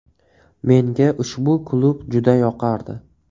Menga ushbu klub juda yoqardi.